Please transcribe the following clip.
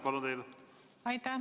Aitäh!